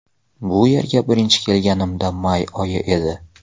Bu yerga birinchi kelganimda may oyi edi.